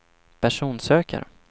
personsökare